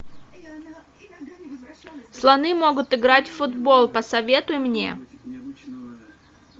слоны могут играть в футбол посоветуй мне